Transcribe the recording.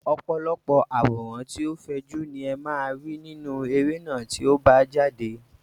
Ọ̀pọ̀lọpọ̀ àwòrán tí ó fẹjú ni ẹ máa rí nínú eré náà tí ó bá jáde.